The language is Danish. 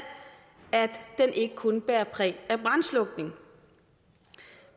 at den ikke kun bærer præg af brandslukning